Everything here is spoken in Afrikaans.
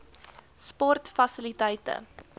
sportfasiliteite